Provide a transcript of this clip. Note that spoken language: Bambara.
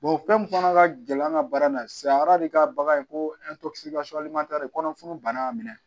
fɛn min fana ka gɛlɛn an ka baara na sisan ka bagan ko kɔnɔfun bana minɛ